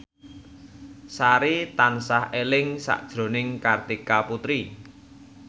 Sari tansah eling sakjroning Kartika Putri